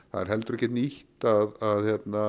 það er heldur ekkert nýtt að